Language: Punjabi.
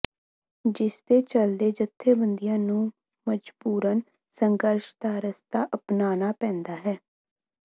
ਜਿਸਦੇ ਚਲਦੇ ਜੱਥੇਬੰਦੀਆਂ ਨੂੰ ਮਜਬੂਰਨ ਸੰਘਰਸ਼ ਦਾ ਰਸਤਾ ਅਪਨਾਨਾ ਪੈਂਦਾ ਹੈ